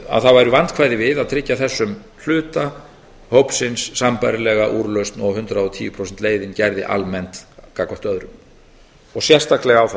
að það væru vandkvæði við að tryggja þessum hluta hópsins sambærilega úrlausn og hundrað og tíu prósenta leiðin gerði almennt gagnvart öðrum og sérstaklega á það